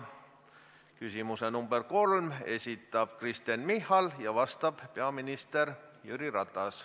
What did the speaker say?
Küsimuse nr 3 esitab Kristen Michal ja vastab peaminister Jüri Ratas.